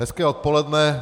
Hezké odpoledne.